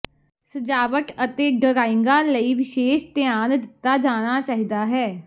ਸਜਾਵਟ ਅਤੇ ਡਰਾਇੰਗਾਂ ਲਈ ਵਿਸ਼ੇਸ਼ ਧਿਆਨ ਦਿੱਤਾ ਜਾਣਾ ਚਾਹੀਦਾ ਹੈ